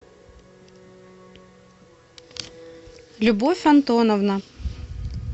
любовь антоновна